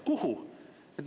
Kuhu?